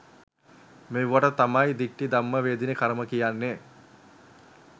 මේවට තමයි දිට්ට ධම්ම වේදනීය කර්ම කියන්නේ.